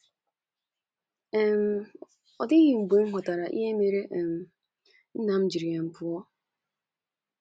um “ Ọ dịghị mgbe m ghọtara ihe mere um nna m ji um pụọ.